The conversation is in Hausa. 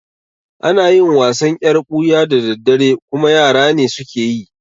Ana yin wasan yar ɓuya da daddare kuma yara ne suke yi